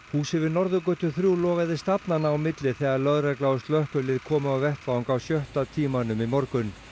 húsið við Norðurgötu þrjú logaði stafnanna á milli þegar lögregla og slökkvilið kom á vettvang á sjötta tímanum í morgun